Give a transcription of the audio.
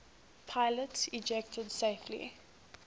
pilots ejected safely